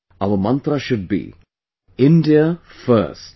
Our mantra should be India First